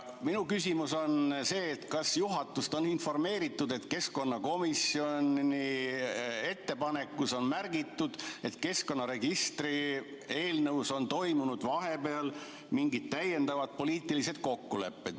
Minu küsimus on selline: kas juhatust on informeeritud sellest, et keskkonnakomisjoni ettepanekus on märgitud, et keskkonnaregistri eelnõus on tehtud vahepeal mingeid täiendavaid poliitilisi kokkuleppeid?